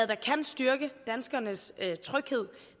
der kan styrke danskernes tryghed